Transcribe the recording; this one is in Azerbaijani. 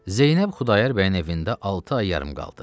Zeynəb Xudayar bəyin evində altı ay yarım qaldı.